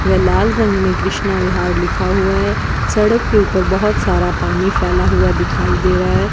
वे लाल रंग में कृष्णा विहार लिखा हुआ है सड़क के ऊपर बहोत सारा पानी फैला हुआ दिखाई दे रहा --